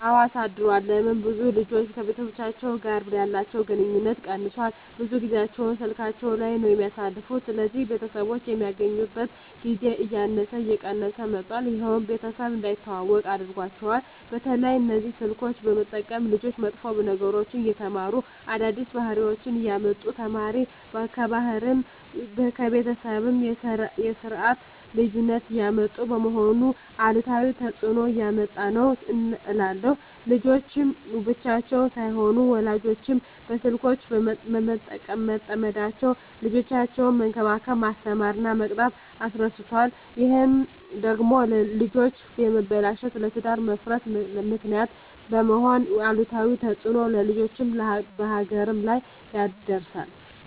አወ አሳድሯል ለምን ብዙ ልጆች ከቤተሰቦቻቸው ጋር ያለቸዉ ግንኙነት ቀነሷል ብዙ ጊያቸዉን ስላካቸዉ ላይ ነዉ የሚያሳልፉት ስለዚህ ቤተሰቦች የሚገናኙበት ጊዜ እያነሰ እየቀነሰ መጧት ይሄም ቤተሰብ እንዳይተዋወቁ አድርጓቸዋል። በተለይ እነዚህ ስልኮችን በመጠቀም ልጆች መጥፎ ነገሮችን እየተማሩ አዳዲስ ባህሪወችነሰ እያመጡ እየተማሩ ከባህልም ከቤተሰብም የስርት ልዩነት እያመጡ በመሆኑ አሉታዊ ተጽእኖ እያመጣ ነዉ እላለሁ። ልጆች ብቻም ሳይሆኑ ወላጆችም በስልኮች በመጠመዳቸዉ ልጆቻቸዉነሰ መንከባከብ፣ መስተማር እና መቅጣት እረስተዋል ይሄ ደግሞ ለልጆች መበላሸት ለትዳር መፍረስ ምክንያት በመሄን አሉታዊ ተጽእኖ በልጆችም በሀገርም ላይ ያደርሳል።